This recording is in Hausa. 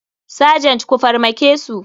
Sergent ku farmakesu.